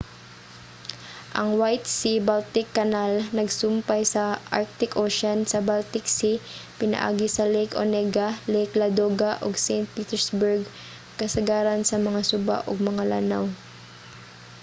ang white sea-baltic canal nagsumpay sa arctic ocean sa baltic sea pinaagi sa lake onega lake ladoga ug saint petersburg kasagaran sa mga suba ug mga lanaw